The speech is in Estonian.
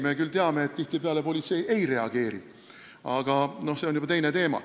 Me küll teame, et politsei tihtipeale ei reageeri, aga see on juba teine teema.